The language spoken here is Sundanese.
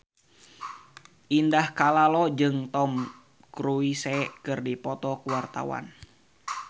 Indah Kalalo jeung Tom Cruise keur dipoto ku wartawan